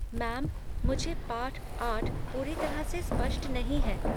Ma'am, मुझे पाठ आठ पूरी तरह से स्पष्ट नहीं है।